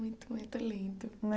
Muito, muito lindo.